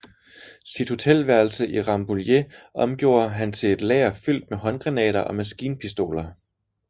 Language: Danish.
Sit hotelværelse i Rambouillet omgjorde han til et lager fyldt med håndgranater og maskinpistoler